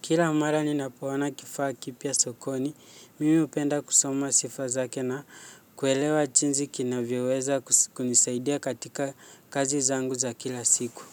Kila mara ninapoona kifaa kipya sokoni, mimi hupenda kusoma sifa zake na kuelewa jinsi kinavyoweza kunisaidia katika kazi zangu za kila siku.